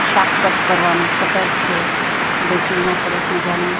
શાક કટ કરવાનું કટર છે. બેસીન માં સરસ મજાનું--